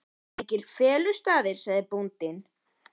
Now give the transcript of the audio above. Hér eru engir felustaðir, sagði bóndinn.